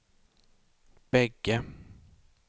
bägge